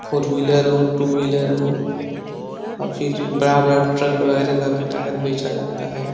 Four wheeler हो two wheeler हो और फिर बड़ा-बड़ा ट्रक वगैरा का भी टायर बेचा जाता है।